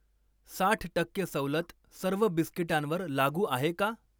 साठ टक्के सवलत सर्व बिस्किटांवर लागू आहे का?